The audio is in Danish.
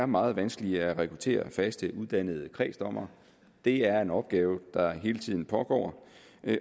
meget vanskeligt at rekruttere faste uddannede kredsdommere det er en opgave der hele tiden pågår